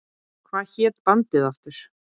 Hvað hét bandið aftur?